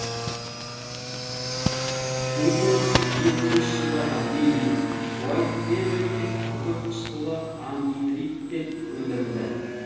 мың тоғыз жүз жетпісінші жылдарға дейін уайтхэвенде күкірт қышқылы ангидриттен өндірілді